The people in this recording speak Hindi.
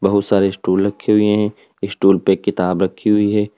बहुत सारे स्टूल रखे हुए हैं स्टूल पे किताब रखी हुई है।